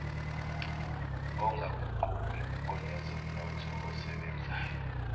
ongaguquki onezomnotho osebenzayo